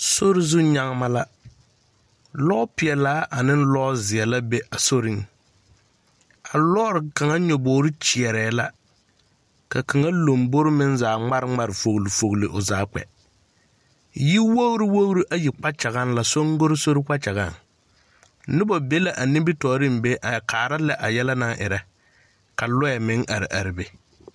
Sori zu nyagema la. Lɔɔpeɛlaa ane lɔɔ zeɛ la be a soriŋ. A lɔɔre kaŋa nyebogiri kyeɛɛ la kaŋa lambori meŋ zaa ŋmare ŋmare fogili fogili o zaa kpɛ. Yi wogiri wogiri ayi kpakyaŋaŋ la soŋgonsori kpakyagaŋaŋ. Noba be la ba nimtɔɔreŋ be a kaara lɛ a yɛlɛ naŋerɛ. Ka lɔɛ meŋ are are be.